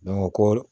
ko